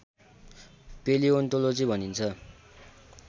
palaeontology भनिन्छ